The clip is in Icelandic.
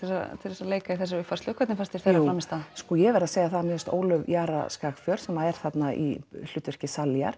til að leika í þessari uppfærslu hvernig fannst þér þeirra frammistaða ég verð að segja það að mér fannst Ólöf Skagfjörð sem er þarna í hlutverki